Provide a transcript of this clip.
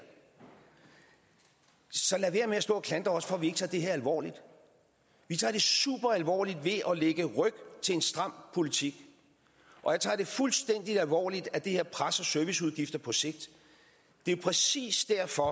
så lad være med at stå og klandre os for at vi ikke tager det her alvorligt vi tager det superalvorligt ved at lægge ryg til en stram politik og jeg tager det fuldstændig alvorligt at det her presser serviceudgifter på sigt det er jo præcis derfor